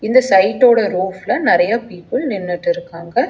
இந்த சைட்டோட ரூஃப்ல நெறையா பீப்பிள் நின்னுட்டு இருக்காங்க.